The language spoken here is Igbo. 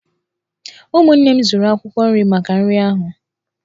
Ụmụnne m zụrụ akwụkwọ nri maka nri ahu.